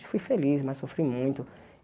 Eu fui feliz, mas sofri muito.